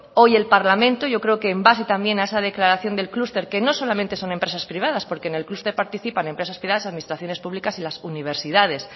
hoy el parlamento yo creo que en base también a esa declaración del clúster que no solamente son empresas privadas porque en el clúster participan empresas privadas las administraciones públicas y las universidades